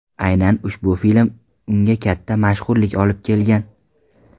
Aynan ushbu film unga katta mashhurlik olib kelgan.